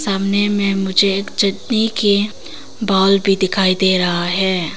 सामने में मुझे एक चटनी के बाउल भी दिखाई दे रहा है।